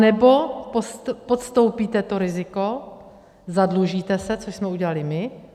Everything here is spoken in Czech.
Anebo podstoupíte to riziko, zadlužíte se, což jsme udělali my.